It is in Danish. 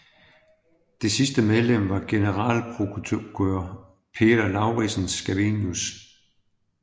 Det sidste medlem var generalprokurør Peder Lauridsen Scavenius